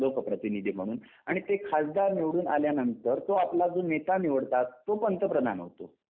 लोकप्रतिनिधी म्हणून आणि ते खासदार निवडून आल्यानंतर तो आपला जो नेता निवडतात तो पंतप्रधान होतो.